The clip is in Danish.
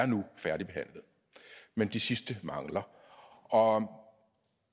nu er færdigbehandlet men de sidste mangler og